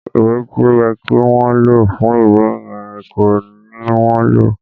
Ìwé tí ó yẹ kí wọn lò fún ìwé yẹn kọ́ ni wọ́n lò